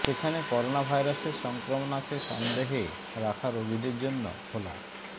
সেখানে করোনাভাইরাসের সংক্রমণ আছে সন্দেহে রাখা রোগীদের জন্য খোলা